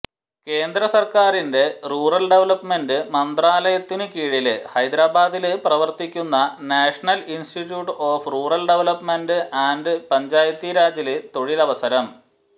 കേന്ദ്രസര്ക്കാരിന്റെ rural development മന്ത്രാലയത്തിനുകീഴില് ഹൈദരാബാദില് പ്രവര്ത്തിക്കുന്ന national institute of rural development and പഞ്ചായത്തീരാജില് തൊഴിലവസരം